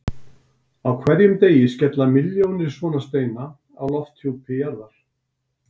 Á hverjum degi skella milljónir svona steina á lofthjúpi jarðar.